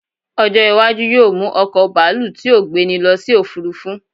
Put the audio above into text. ọjọ iwaju yíò mu oko baalu ti o gbeni lo sí òfurufú